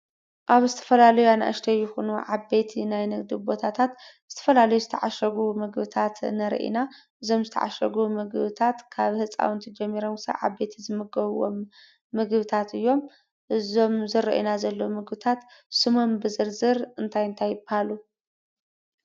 ኣብ ዝተፈላለዩ አናእሽተይ ይኹኑ ዓበይቲ ናይ ንግዲ ቦታታት ዝተፈላለዩ ዝተዓሸጉ ምግብታት ንርኢ ኢና። እዞም ዝተዓሸጉ ምግብታት ካብ ህፃውንቲ ጀሚሮም ክሳብ ዓበይቲ ዝምገብዎም ምግብታት እዮም። እዞም ዝረአዩና ዘለው ምግብታት ስሞም ብዝርዝር እንታይ እንታይ ይበሃሉ?